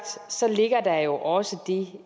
ligger der jo også det